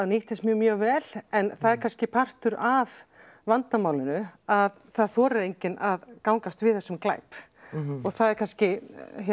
nýttist mér mjög vel en það er kannski partur af vandamálinu að það þorir enginn að gangast við þessum glæp og það er kannski